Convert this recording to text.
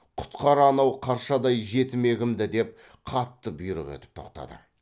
құтқар анау қаршадай жетімегімді деп қатты бұйрық етіп тоқтады